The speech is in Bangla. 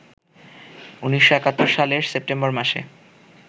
১৯৭১ সালের সেপ্টেম্বর মাসে